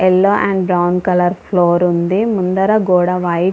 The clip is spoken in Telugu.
yellow and brown colour floor ఉంది ముందల గోడ వైట్ --